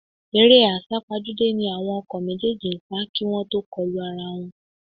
Eré àsápajúdé ni àwọn ọkọ̀ méjèèjì ń sá kí wọ́n tó kọlu ara wọn